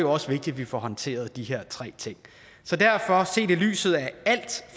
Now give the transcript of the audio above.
også vigtigt at vi får håndteret de her tre ting så derfor set i lyset af